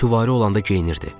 Süvari olanda geyinirdi.